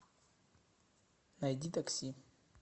найди такси